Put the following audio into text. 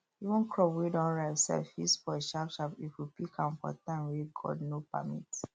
even crop wey don ripe sef fit spoil sharpsharp if we pick am for time wey god no permit